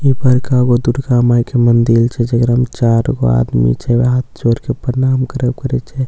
ई बड़का गो दुर्गा माय के मंदिल छे जेकरा में चार गो आदमी छे हाथ जोड़ के प्रणाम करब करए छे ई साइड --